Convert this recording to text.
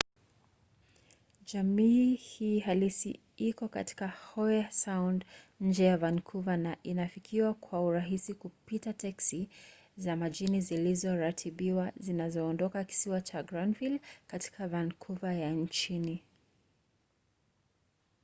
jamii hii halisi iko katika howe sound nje ya vancouver na inafikiwa kwa urahisi kupitia teksi za majini zilizoratibiwa zinazoondoka kisiwa cha granville katika vancouver ya chini